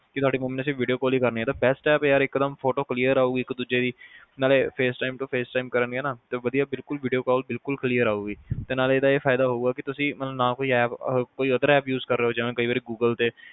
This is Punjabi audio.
ਤੁਹਾਡੀ ਮੰਮੀ ਨੇ ਸਿਰਫ video call ਈ ਕਰਨੀ ਆ ਤੇ best app ਯਾਰ ਇੱਕਦਮ photo clear ਆਉਗੀ ਇੱਕ-ਦੂਜੇ ਦੀ ਮਤਲਬ face time to face time ਕਰਨਗੇ ਨਾ ਤੇ ਵਧੀਆ ਬਿਲਕੁਲ video call ਬਿਲਕੁਲ clear ਆਉਗੀ ਤੇ ਨਾਲੇ ਇਹਦਾ ਇਹ ਫਾਇਦਾ ਹਉਗਾ ਕੇ ਤੁਸੀ ਨਾ ਕੋਈ app otherapp use ਕਰ ਰਹੇ ਜਿਵੇ ਕਈ ਵਾਰੀ Google ਤੇ